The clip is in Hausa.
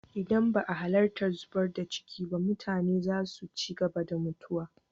Idan ba a halattar zubar da ciki ba, mutane za su ci gaba da mutuwa.